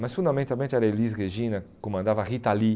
Mas fundamentalmente era a Elis Regina, comandava a Rita Lee.